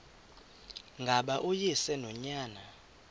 ngaba uyise nonyana